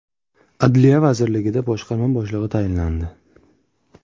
Adliya vazirligida boshqarma boshlig‘i tayinlandi.